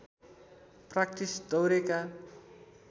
practice दौरेका